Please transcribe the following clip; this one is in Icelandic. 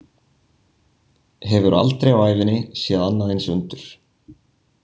Hefur aldrei á ævinni séð annað eins undur.